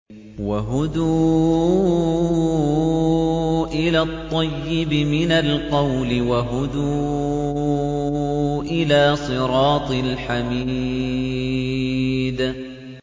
وَهُدُوا إِلَى الطَّيِّبِ مِنَ الْقَوْلِ وَهُدُوا إِلَىٰ صِرَاطِ الْحَمِيدِ